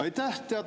Aitäh!